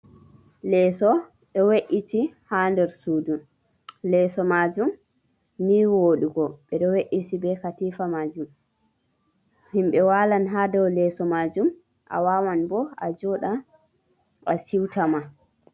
Leeso ɗo we’iti haa nder suudu, leeso maajum ni wooɗugo, ɓe ɗo we’iti be katiifa maajum, himɓe waalan haa dow leeso maajum, a waawan bo a jooɗa a siwta ma.